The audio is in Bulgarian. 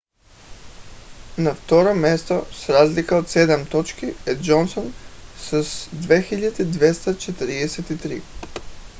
на второ място с разлика от седем точки е джонсън с 2243